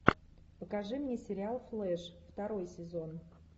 покажи мне сериал флэш второй сезон